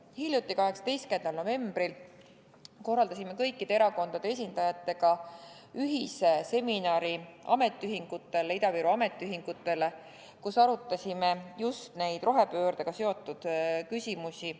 Hiljuti, 18. novembril korraldasime kõikide erakondade esindajatega ühise seminari Ida-Viru ametiühingutele, kus arutasime just neid rohepöördega seotud küsimusi.